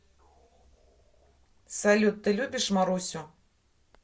салют ты любишь марусю